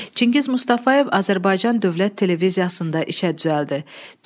Çingiz Mustafayev Azərbaycan Dövlət Televiziyasında işə düzəldi.